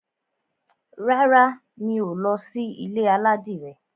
Rárá, mi ò ní lọ sí ilé aládìrẹ.